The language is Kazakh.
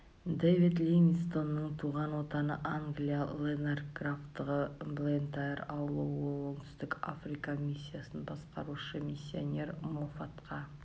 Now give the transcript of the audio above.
дэвид ливингстонның туған отаны англия лэнарк графтығы блентайр ауылы ол оңтүстік африка миссиясын басқарушы миссионер моффатқа